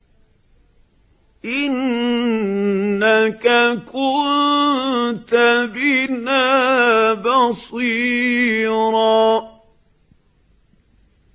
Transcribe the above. إِنَّكَ كُنتَ بِنَا بَصِيرًا